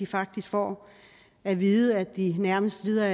faktisk får at vide at de nærmest lider